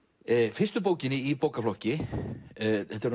fyrstu bókinni í bókaflokki þetta eru